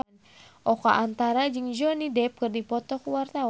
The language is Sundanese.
Oka Antara jeung Johnny Depp keur dipoto ku wartawan